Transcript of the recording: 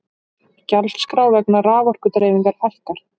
Gjaldskrá vegna raforkudreifingar hækkar